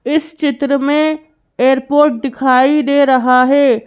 इस चित्र मेंएयरपोर्ट दिखाई दे रहा है।